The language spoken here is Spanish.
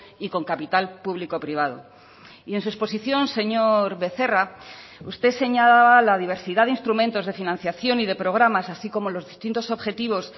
y con capital público privado y en su exposición señor becerra usted señalaba la diversidad de instrumentos de financiación y de programas así como los distintos objetivos